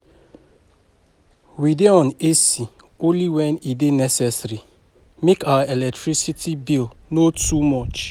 We dey on AC only wen e dey necessary, make our electricity bill no too much.